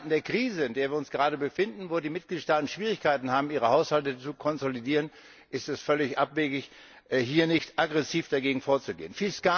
In Zeiten der Krise, in der wir uns gerade befinden, in denen die Mitgliedstaaten Schwierigkeiten haben, ihre Haushalte zu konsolidieren, ist es völlig abwegig, hier nicht aggressiv dagegen vorzugehen!